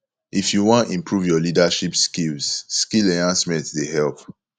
if you wan improve your leadership skills skill enhancement dey help